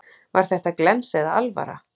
Var þetta glens eða alvara?